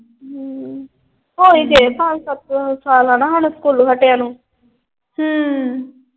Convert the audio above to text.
ਅਮ ਹੋ ਹੀ ਗਏ ਪੰਜ ਸੱਤ ਸਾਲ ਹਣਾ ਸਾਨੂੰ ਸਕੂਲੋਂ ਹਠਿਆਂ ਨੂੰ।